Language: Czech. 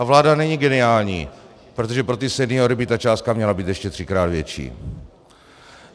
A vláda není geniální, protože pro ty seniory by ta částka měla být ještě třikrát větší.